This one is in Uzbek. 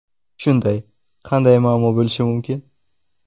Shunday, qanday muammo bo‘lishi mumkin?!